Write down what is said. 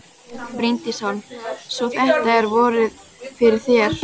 Bryndís Hólm: Svo þetta er vorið fyrir þér?